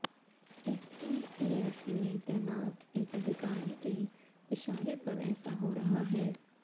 STF में तैनात एक अधिकारी के इशारे पर ऐसा हो रहा है